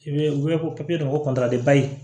I bɛ u bɛ ko papiye dɔ ko